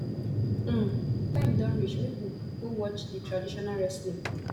um time don reach make we go watch di traditional wrestling